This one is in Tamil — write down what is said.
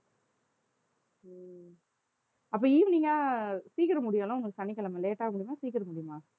அப்ப evening ஆ சீக்கிரம் முடியுமல்ல உனக்கு சனிக்கிழமை late ஆ முடியுமா சீக்கிரம் முடியுமா